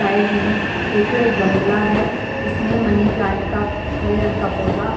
side में एक गमला है उसमें मनी प्लांट का हरे रंग का पौधा --